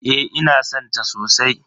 Eh ina san ta sosai.